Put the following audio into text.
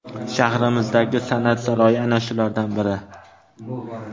Shahrimizdagi san’at saroyi ana shulardan biri.